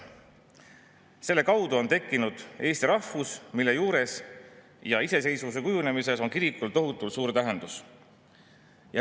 Selle kaudu on tekkinud eesti rahvus, mille juures ja ka iseseisvuse kujunemises on olnud kirikul tohutult suur tähendus.